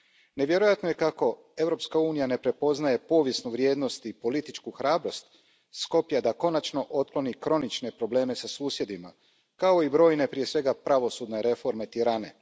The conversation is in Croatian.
Nevjerojatno je kako Europska unija ne prepoznaje povijesnu vrijednost i političku hrabrost Skoplja da konačno otkloni kronične probleme sa susjedima, kao i brojne, prije svega pravosudne reforme Tirane.